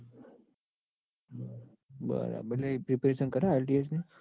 બરાબર એટલે preparation કરે IELTS ની